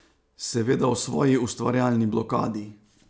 Seveda o svoji ustvarjalni blokadi.